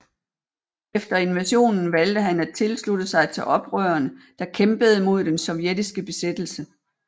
Efter invasionen valgte han at tilslutte sig til oprørene der kæmpede mod den sovjetiske besættelse